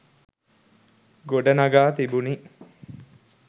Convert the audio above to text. ගොඩ නඟා තිබුණි